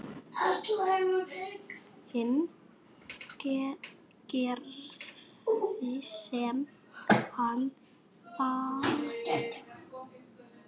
Hinn gerði sem hann bauð.